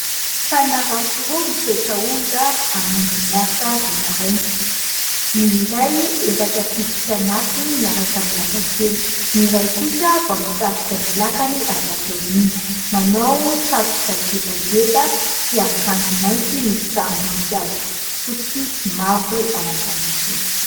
Mpanarato roa misedra onja hamonjy ny asa vao maraina. Ny iray efa tafiditra anatiny miaraka amin'ny lakan-kely ; ny iray kosa vao mitarika ny lakany avy aty aoriana, manao satroka gebageba sy akanjo mainty misy sarim-boninkazo fotsy sy mavo ao an-damosiny.